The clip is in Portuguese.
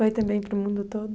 Foi também para o mundo todo?